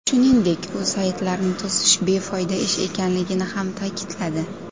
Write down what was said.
Shuningdek, u saytlarni to‘sish befoyda ish ekanligini ham ta’kidladi .